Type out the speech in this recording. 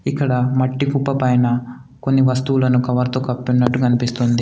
ఇక్కడ మట్టి కుప్ప పైన కొన్ని వస్తువులను కవర్తో కప్పిన్నట్టు కన్పిస్తుంది.